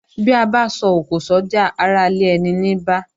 Bí abá so òkò sójà ará ilé eni ní bá